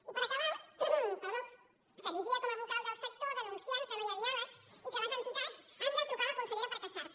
i per acabar s’erigia com a vocal del sector denunciant que no hi ha diàleg i que les entitats han de trucar a la consellera per queixar se